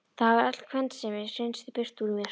Það var öll kvensemi hreinsuð burt úr mér.